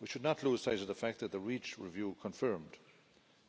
We should not lose sight of the fact that the Reach review confirmed